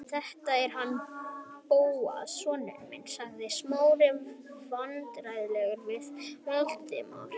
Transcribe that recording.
Þetta er hann Bóas sonur minn- sagði Smári vandræðalegur við Valdimar.